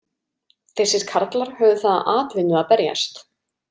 Þessir karlar höfðu það að atvinnu að berjast.